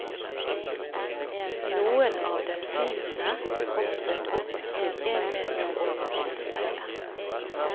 Noen av delfinene hoppet opp til en meter over vannspeilet.